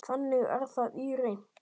Þannig er það í reynd.